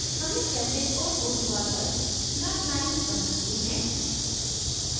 हमने क्षैतिज और ऊर्ध्वाधर snap lines बना we हैं